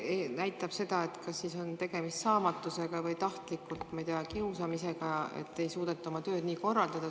See näitab seda, et tegemist on kas saamatusega või tahtliku kiusamisega, et ei suudeta oma tööd nii korraldada.